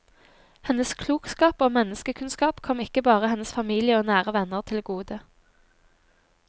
Hennes klokskap og menneskekunnskap kom ikke bare hennes familie og nære venner til gode.